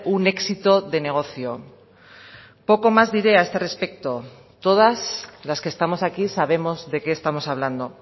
un éxito de negocio poco más diré a este respecto todas las que estamos aquí sabemos de qué estamos hablando